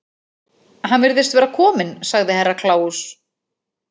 Hann virðist vera kominn, sagði Herra Kláus.